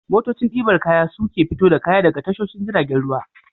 Motocin ɗibar kaya su ke fito da kaya daga tashoshin jiragen ruwa.